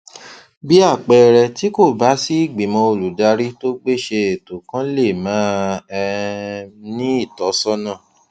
bí àpẹẹrẹ tí kò bá sí ìgbìmò olùdarí tó gbéṣé ètò kan lè máà um ní ìtósónà